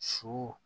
Su